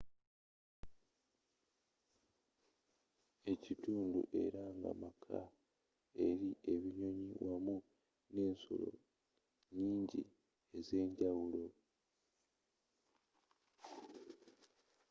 ekitundu era nga maka eri ebinyonyi wamu nensolo nnyingi ezenjawulo